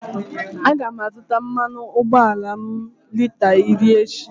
A ga m azụta mmanụ ụgbọala m lita iri echi.